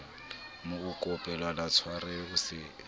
mo kopela tshwarelo o se